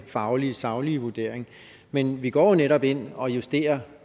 faglige saglige vurdering men vi går jo netop ind og justerer